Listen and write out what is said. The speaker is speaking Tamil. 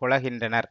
கொளகின்றனர்